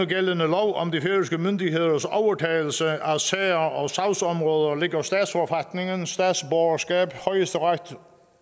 gældende lov om de færøske myndigheders overtagelse af sager og sagsområder ligger statsforfatningen statsborgerskab højesteret